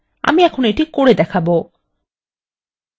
আমি এখন এইটি করে দেখাবো